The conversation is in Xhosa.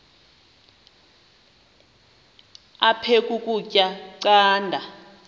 aphek ukutya canda